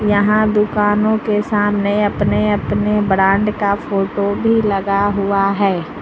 यहां दुकानों के सामने अपने अपने ब्रांड का फोटो भी लगा हुआ है।